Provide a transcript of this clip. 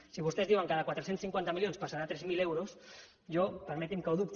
si vostès diuen que de quatre cents i cinquanta milions passarà a tres mil euros jo permeti’m que ho dubti